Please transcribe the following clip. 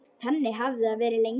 Þannig hafði það verið lengi.